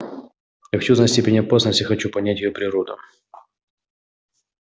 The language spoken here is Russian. я хочу знать степень опасности хочу понять её природу